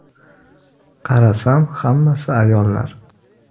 Qarasam hammasi ayollar.